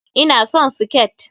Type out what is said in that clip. Ina son siket.